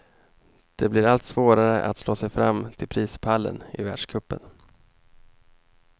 Det blir allt svårare att slå sig fram till prispallen i världscupen.